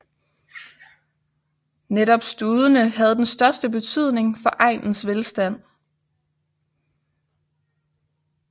Netop studene havde den største betydning for egnens velstand